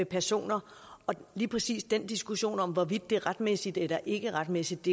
personer og lige præcis den diskussion om hvorvidt det er retmæssigt eller ikke er retmæssigt